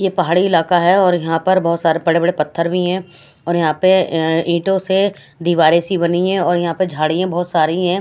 ये पहाड़ी इलाका है और यहाँ पर बहुत सारे बड़े-बड़े पत्थर भी हैं और यहाँ पर अ ईंटों से दीवारें सी बनी है और यहाँ पर झाड़ियां बहुत सारी हैं।